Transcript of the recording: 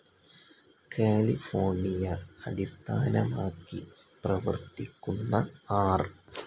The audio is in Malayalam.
കാലിഫോർണിയ അടിസ്ഥാനമാക്കി പ്രവർത്തിക്കുന്ന ആർ.